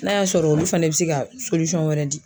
N'a y'a sɔrɔ olu fana bɛ se ka wɛrɛ di.